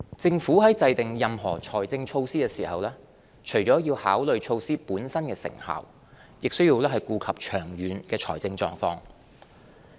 政府在制訂任何財政措施時，除了要考慮措施本身的成效，亦需顧及長遠的財政狀況。